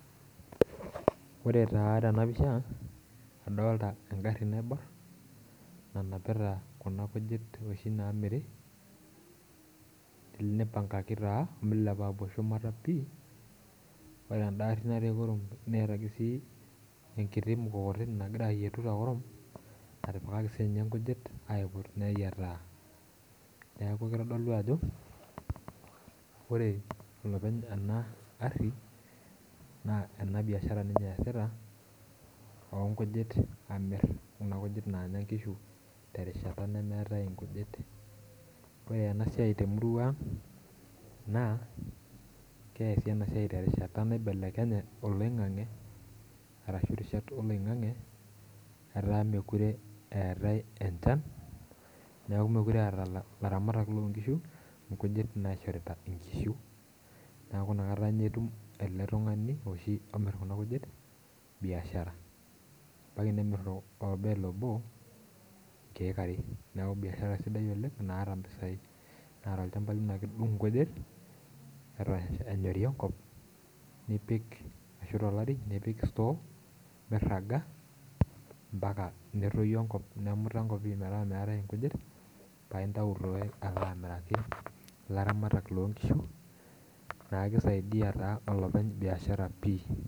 Ore taa tena pisha adolta engarri naiborr nanapita kuna kujit oshi naamiri ele nipangaki taa omilepa apuo shumata pii ore enda arri natii kurum neeta ake sii enkiti mukokoteni nagira ayietu tekurum natipikaki siinye inkujit aiput neyiataa neeku kitodolu ajo ore enopeny ena arri naa ena biashara ninye eesita onkujit amirr kuna kujit naanya inkishu terishata nemeetae inkujit ore ena siai temurua ang naa keesi ena siai terishata naibelekenye oloing'ang'e arashu irishat oloing'ang'e etaa mekure eetae enchan niaku mekure eeta ilaramatak lonkishu nkjuit naishorita inkishu niaku inakata inye etum ele tung'ani oshi omirr kuna kujit biashara ebaiki nemirr o orbel obo inkeek are niaku biashara sidai oleng naata impisai naa tolchamba lino ake idung inkujit eta enyori enkop nipik ashu tolari nipik store mirraga mpaka netoyu enkop nemuta enkop pii metaa meetae inkujit paintau taa alo amiraki ilaramatak lonkishu naa kisaidia taa olopeny biashara pii.